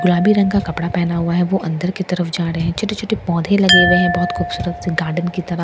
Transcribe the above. गुलाबी रंग का कपड़ा पहना हुआ है वो अंदर की तरफ जा रहे हैं छोटे छोटे पौधे लगे हुए हैं बहुत खूबसूरत सी गार्डन की तरह।